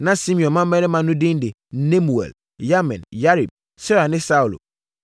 Na Simeon mmammarima no edin de Nemuel, Yamin, Yarib, Serah ne Saulo.